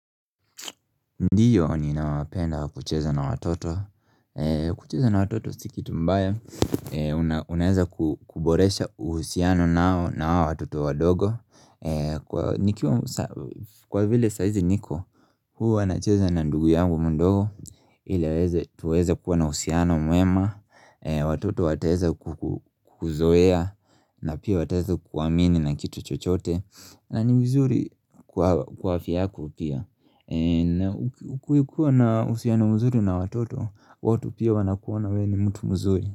Ndiyo nina wapenda kucheza na watoto kucheza na watoto si kitu mbaya una Unaeza kuboresha uhusiano nao na hao watoto wadogo Kwa vile saa hizi niko Huwa nacheza na ndugu yangu mdogo ili aweze tuweze kuwa na uhusiano mwema Watoto wateeza ku kuzoea na pia wataeza kuamini na kitu chochote na ni vizuri kwa kwa afya yako pia na ukikuikuwa na uhusiana mzuri na watoto watu pia wanakuona wewe ni mtu mzuri.